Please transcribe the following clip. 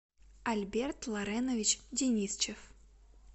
альберт лоренович денисчев